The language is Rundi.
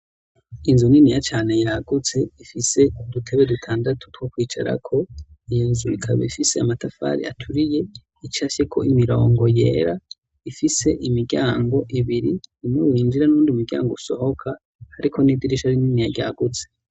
inzu niniya cyane yagutse ifise udutebe dutandatu twokwicarako iyo nzu ikaba ifise amatafari aturiye icafyeko imirongo yera ifise imiryango ibiri imwe winjira muwundi muryango usohoka ariko n'idirisha rininiya ryagutse